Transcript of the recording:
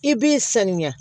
I b'i sanuya